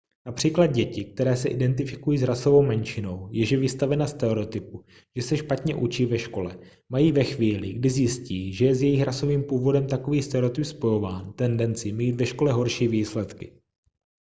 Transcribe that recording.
například děti které se identifikují s rasovou menšinou jež je vystavena stereotypu že se špatně učí ve škole mají ve chvíli kdy zjistí že je s jejich rasovým původem takový stereotyp spojován tendenci mít ve škole horší výsledky